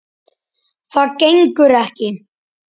Það gengur ekki.